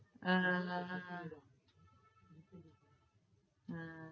આહ હમ